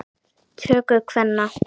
töku kvenna.